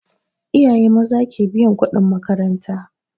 Iyaye maza ke biyan kuɗin makaranta